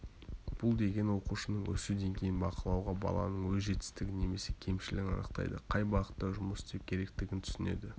бұл деген оқушының өсу деңгейін бақылауға баланың өз жетістігін немесе кемшілігін анықтайды қай бағытта жұмыс істеу керектігін түсінеді